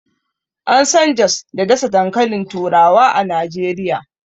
An San jos da ɗasa dankalin turawa a Najeriya.